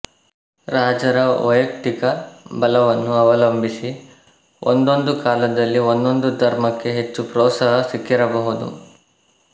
ರಾಜರ ವೈಯಕ್ತಿಕ ಬಲವನ್ನು ಅವಲಂಬಿಸಿ ಒಂದೊಂದು ಕಾಲದಲ್ಲಿ ಒಂದೊಂದು ಧರ್ಮಕ್ಕೆ ಹೆಚ್ಚು ಪ್ರೋತ್ಸಾಹ ಸಿಕ್ಕಿರಬಹುದು